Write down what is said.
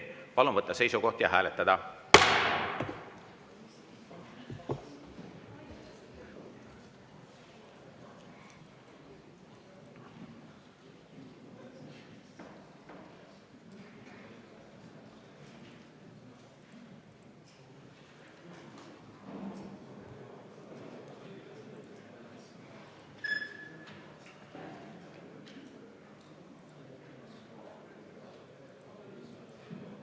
Palun võtta seisukoht ja hääletada!